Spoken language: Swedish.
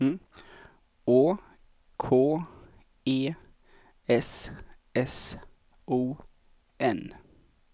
Å K E S S O N